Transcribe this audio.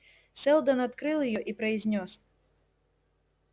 сэлдон открыл её и произнёс